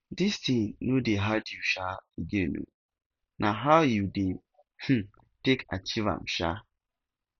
dis thing no dey hard you um again oo na how you dey um take achieve am um